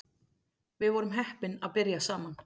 Við vorum heppin að byrja saman